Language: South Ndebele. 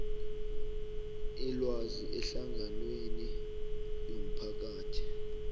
ilwazi ehlanganweni yomphakathi